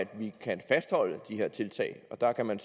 vi kan fastholde der kan man